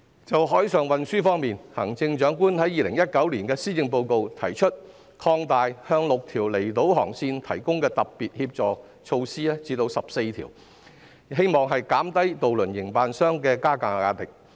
關於海上運輸，在2019年施政報告內，行政長官提出把向6條離島航線提供的特別協助措施擴大至14條，以期減低渡輪營辦商的加價壓力。